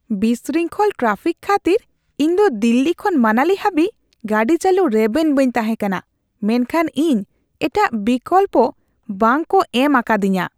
ᱵᱤᱥᱨᱤᱝᱠᱷᱚᱞ traffic ᱠᱷᱟᱹᱛᱤᱨ ᱤᱧᱫᱚ ᱫᱤᱞᱞᱤ ᱠᱷᱚᱱ ᱢᱟᱱᱟᱞᱤ ᱦᱟᱹᱵᱤᱡ ᱜᱟᱹᱰᱤ ᱪᱟᱹᱞᱩ ᱨᱮᱵᱮᱱ ᱵᱟᱹᱧ ᱛᱟᱦᱮᱸ ᱠᱟᱱᱟ , ᱢᱮᱱᱠᱷᱟᱱ ᱤᱧ ᱮᱴᱟᱜ ᱵᱤᱠᱚᱞᱯᱚ ᱵᱟᱝ ᱠᱚ ᱮᱢ ᱟᱠᱟᱫᱤᱧᱟᱹ ᱾